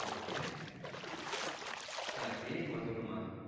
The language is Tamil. okay அஹ சரி மா சொல்லுமா.